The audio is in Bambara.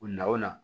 O na o na